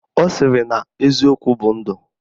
Ọ sịrị na eziokwu bụ ndụ